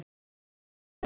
Þar leið mér vel